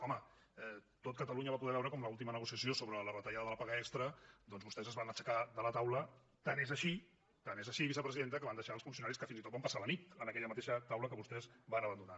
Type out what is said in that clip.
home tot catalunya va poder veure com a l’última negociació sobre la retallada de la paga extra doncs vostès es van aixecar de la taula tant és així vicepresidenta que van deixar els funcionaris que fins i tot van passar la nit en aquella mateixa taula que vostès van abandonar